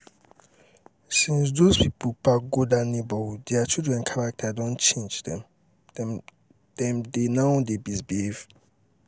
since doz people park go dat neigbourhood dia children character don change dem dem now dey misbehave